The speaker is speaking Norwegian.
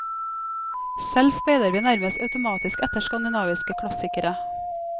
Selv speider vi nærmest automatisk etter skandinaviske klassikere.